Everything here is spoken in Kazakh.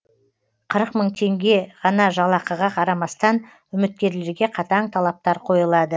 қырық мың теңге ғана жалақыға қарамастан үміткерлерге қатаң талаптар қойылады